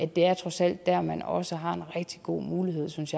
det er trods alt dér man også har en rigtig god mulighed synes